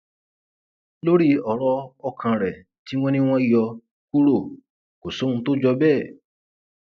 lórí ọrọ ọkàn rẹ tí wọn ní wọn yọ kúrò kò sóhun tó jọ bẹẹ